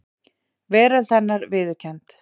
Veröld hennar viðurkennd.